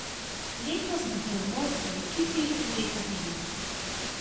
Letos dvomov o ekipi leta ni bilo.